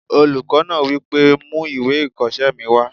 Olùkọ́ náà wí pé "mú ìwé ìkọsẹ́ mi wá!"